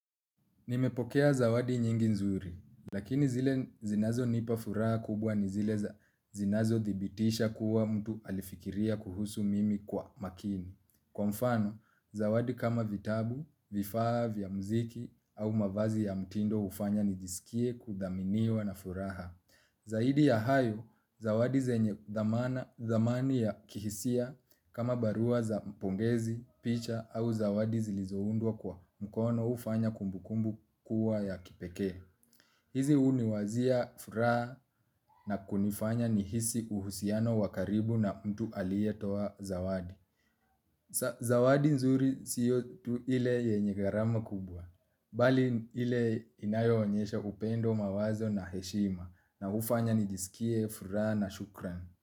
Nimepokea zawadi nyingi nzuri, lakini zile zinazo nipa furaha kubwa ni zile zinazo thibitisha kuwa mtu alifikiria kuhusu mimi kwa makini. Kwa mfano, zawadi kama vitabu, vifaa, vya mziki au mavazi ya mtindo ufanya nijisikie kudhaminiwa na furaha. Zaidi ya hayo, zawadi zenye dhamani ya kihisia kama barua za mpongezi, picha au zawadi zilizoundwa kwa mkono ufanya kumbukumbu kuwa ya kipeke. Hizi huniwazia, furaha na kunifanya nihisi uhusiano wakaribu na mtu alietoa zawadi. Zawadi nzuri siyo tu ile yenye gharama kubwa, bali ile inayo onyesha upendo mawazo na heshima na ufanya nijisikie furaha na shukran.